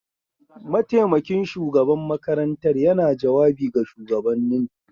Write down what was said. Mataimakin shugaban makarantar yana jawabi ga shugabannin.